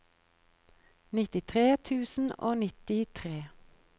nittitre tusen og nittitre